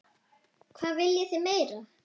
Hvað viljið þið meira?